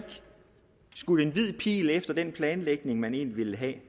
skudt en hvid pil efter den planlægning man egentlig ville have